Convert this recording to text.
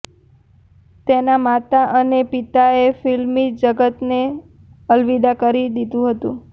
તેના માતા અને પિતાએં ફિલ્મી જગતને અલવિદા કરી દીધું હતું